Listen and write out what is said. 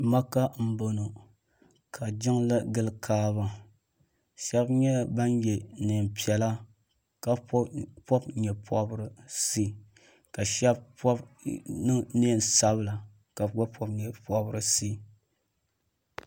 Maka n bɔŋo ka jiŋli gili kaaba shɛba nyɛ ban yɛ niɛn piɛla ka pɔbi nyɛ pɔbirisi ka shɛba pɔbi niɛn sabila ka bi gba pɔbi nyɛ pɔbirisi.